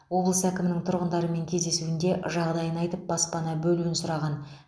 облыс әкімінің тұрғындармен кездесуінде жағдайын айтып баспана бөлуін сұраған